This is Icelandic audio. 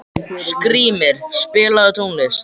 Skrýmir, spilaðu tónlist.